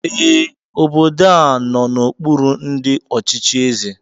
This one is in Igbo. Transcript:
Ee, obodo a nọ n'okpuru ndị ọchịchị eze